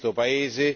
paese.